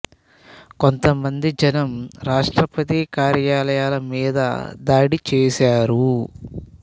కొంత మంది జనం రాష్ట్రపతి కార్యాలయాల మీద దాడి చేశారు